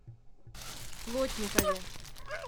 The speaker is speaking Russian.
плотникове